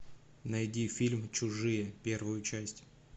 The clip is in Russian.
найди фильм чужие первую часть